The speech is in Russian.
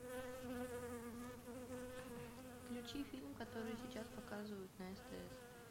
включи фильм который сейчас показывают на стс